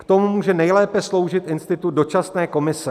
K tomu může nejlépe sloužit institut dočasné komise.